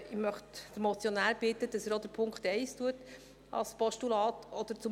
Ich möchte den Motionär bitten, dass er auch den Punkt 1 in ein Postulat wandelt.